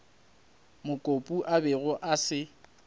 mokopu a bego a se